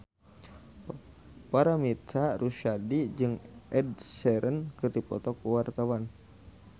Paramitha Rusady jeung Ed Sheeran keur dipoto ku wartawan